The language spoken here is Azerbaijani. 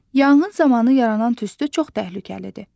Yanğın zamanı yaranan tüstü çox təhlükəlidir.